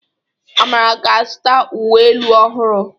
Amara ga-azụta uwe elu ọhụrụ.